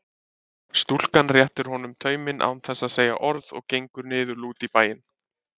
Stúlkan réttir honum tauminn án þess að segja orð og gengur niðurlút í bæinn.